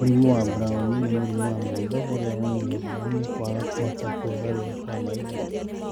Mũrimũ wa Brown nĩ mũrimũ wa maitho ũrĩa wonanagio nĩ kwaga kũhota kwĩgarũra kwa maitho.